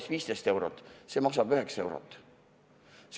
Ja see väike pudel siin maksab 9 eurot.